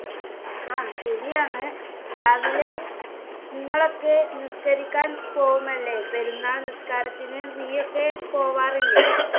ആഹ് ശരിയാണ് രാവിലെ നിങ്ങളൊക്കെ നിസ്കരിക്കാൻ പോവുമല്ലേ പെരുന്നാൾ നിസ്കാരത്തിന് നീ ഓക്കേ പോവാറില്ലേ